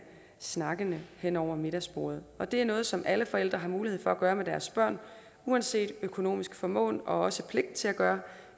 snakkene hen over middagsbordet det er noget som alle forældre har mulighed for at gøre med deres børn uanset økonomisk formåen og også pligt til at gøre